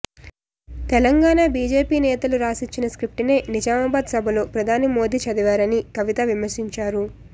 Telangana BJP నేతలు రాసిచ్చిన script నే నిజామాబాద్ సభలో ప్రధాని మోదీ చదివారని కవిత విమర్శించారు